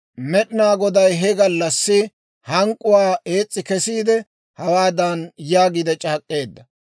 Med'inaa Goday he gallassi hank'k'uwaa ees's'i kesiide, hawaadan yaagiide c'aak'k'eedda;